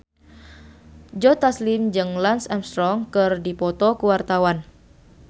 Joe Taslim jeung Lance Armstrong keur dipoto ku wartawan